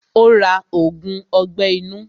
Ó ra ògùn ọgbẹ́ inú.